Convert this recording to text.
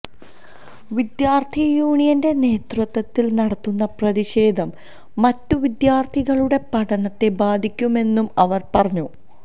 വിദ്യാർഥി യൂണിയന്റെ നേതൃത്വത്തിൽ നടത്തുന്ന പ്രതിഷേധം മറ്റു വിദ്യാർഥികളുടെ പഠനത്തെ ബാധിക്കുന്നെന്നും അവർ പറഞ്ഞു